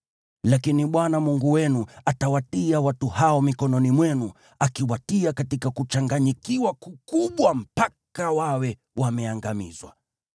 Lakini Bwana Mungu wenu atawatia watu hao mikononi mwenu, akiwatia katika kuchanganyikiwa kukubwa mpaka wawe wameangamizwa.